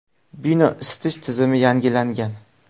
Bino isitish tizimi yangilangan.